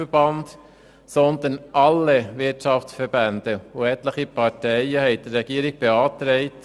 Dabei haben alle Wirtschaftsverbände und einige Parteien mitgemacht.